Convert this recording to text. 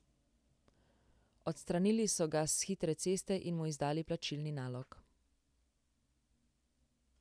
Odstranili so ga s hitre ceste in mu izdali plačilni nalog.